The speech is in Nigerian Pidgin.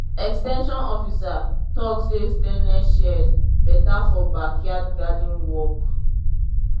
ex ten sion officer talk say stainless shears better for backyard garden work.